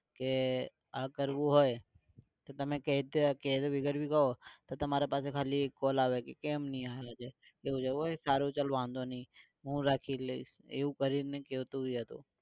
કે આ કરવું હોય તો તમે તો તમારી પાસે ખાલી એક call આવે કે કેમ નહીં આયો એવું હોય કે સારું તો ચલ વાંધો નઈ હું રાખી લઈસ એવું કરીને ગયો તો એરો